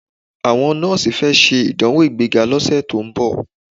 Àwọn nọ́ọ̀sì fẹ́ ṣe ìdánwò ìgbéga lọ́sẹ̀ tó ń bọ̀.